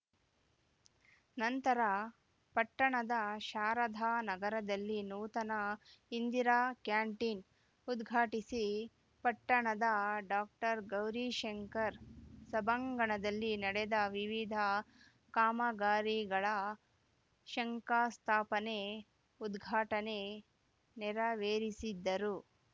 ನಂತರ ಪಟ್ಟಣದ ಶಾರದಾ ನಗರದಲ್ಲಿ ನೂತನ ಇಂದಿರಾ ಕ್ಯಾಂಟಿನ್‌ ಉದ್ಘಾಟಿಸಿ ಪಟ್ಟಣದ ಡಾಕ್ಟರ್ ಗೌರೀಶಂಕರ ಸಭಾಂಗಣದಲ್ಲಿ ನಡೆದ ವಿವಿದ ಕಾಮಗಾರಿಗಳ ಶಂಕಸ್ಥಾಪನೆ ಉದ್ಘಾಟನೆ ನರವೇರಿಸಿದ್ಧರು